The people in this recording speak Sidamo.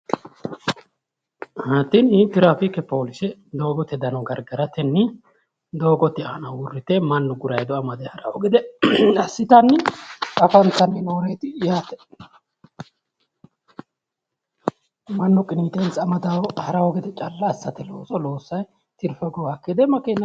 Tini tirafiike poolise doogote dano gargaratenni doogote aana uurrite mannu gurayiido amade haraawo gede assitanni afantanni nooreeti yaate mannu qiniitensa amade haraawo gede calla assatenni tirfe hogowaakki gede makeena hooltannoreeti